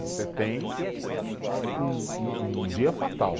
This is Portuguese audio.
Você tem um um, um dia fatal.